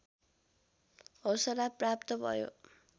हौसला प्राप्त भयो